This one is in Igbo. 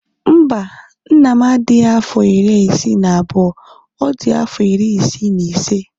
Mba, nna m adighị afọ iri isii na abụọ, ọ dị afọ iri isii na ise